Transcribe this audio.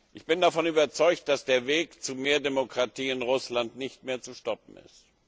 Ich bin davon überzeugt, dass der Weg zu mehr Demokratie in Russland nicht mehr zu stoppen ist.